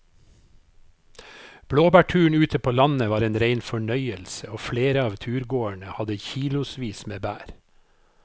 Blåbærturen ute på landet var en rein fornøyelse og flere av turgåerene hadde kilosvis med bær.